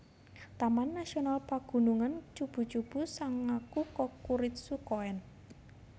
Taman Nasional Pagunungan Chubu Chubu Sangaku Kokuritsu Koen